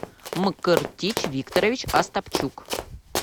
мкртич викторович астапчук